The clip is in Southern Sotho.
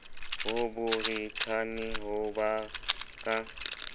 ho borithane ho ba ka